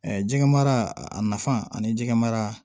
jɛgɛ mara a nafa ani jɛgɛ mara